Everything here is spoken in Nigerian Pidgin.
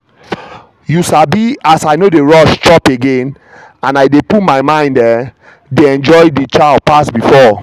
you sabi as i no dey rush chop again and i dey put my mind i um dey enjoy the chow pass before.